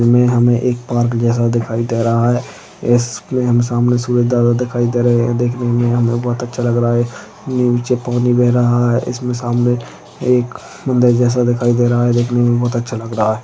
इसमे हमे एक पार्क जैसा दिखाई दे रहा है इस मे हम सामने सूरज दादा दिखाई दे रहे है देखने मे भी हमे बहुत अच्छा लग रहा है नीचे पानी बेह रहा है इसमे सामने एक मंदिर जैसा दिखाई दे रहा है देखने मे भी बहुत अच्छा लग रहा है।